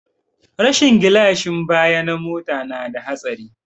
Rashin gilashin baya na mota na da hatsari